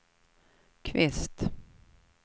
Kvist